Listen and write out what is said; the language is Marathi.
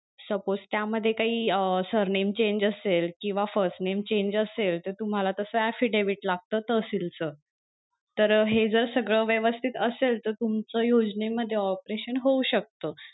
Suppose त्या मध्ये काही अं surname change असेल किंवा first name change असेल तर तस तुम्हाला affidavit लागत तहसील च तर अं हे सगळं जर व्यवस्थित असेल तर तुमचं योजने मध्ये operation होऊ शकत.